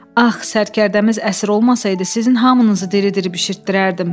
Ax, sərkərdəmiz əsir olmasaydı, sizin hamınızı diri-diri bişirtdirərdim.